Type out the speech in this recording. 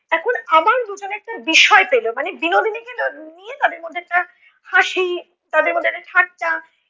এখন আবার দুজনে একটা বিষয় পেলো, মানে বিনোদিনীকে নিয়ে তাদের মধ্যে একটা হাসি তাদের মধ্যে একটা ঠাট্টা